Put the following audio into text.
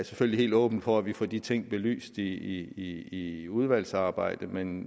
selvfølgelig helt åben for at vi får de ting belyst i i udvalgsarbejdet men